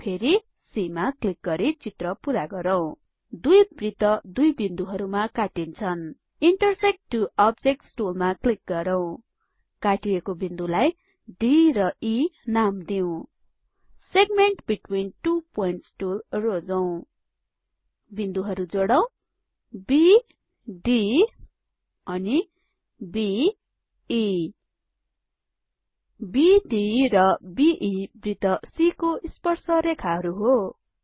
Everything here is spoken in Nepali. फेरी C मा क्लिक गरि चित्र पुरा गरौँ दुई वृत्त दुइ बिन्दुहरुमा काट्टीन्छन इन्टरसेक्ट टु अब्जेक्ट्स टुलमा क्लिक गरौँ काटिएको बिन्दुलाई D र E नाम दिऊ segment between two points tool रोजौं बिन्दुहरु जोडौं बी D अनि B E बीडी र बे वृत्त c को स्पर्स रेखाहरु हो